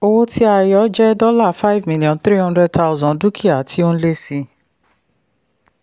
owó tí a yọ jẹ́ five million three hundred thousand dúkìá tí ó n lé sí i.